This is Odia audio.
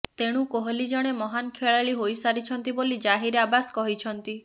ତେଣୁ କୋହଲି ଜଣେ ମହାନ୍ ଖେଳାଳି ହୋଇସାରିଛନ୍ତି ବୋଲି ଜାହିର ଆବାସ୍ କହିଛନ୍ତି